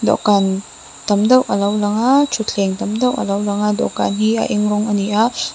dawhkan tam deuh alo lang a thutthleng tam deuh a lo lang a dawhkan hi a eng rawng a ni a.